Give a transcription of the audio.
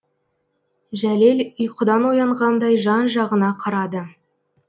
жәлел ұйқыдан оянғандай жан жағына қарады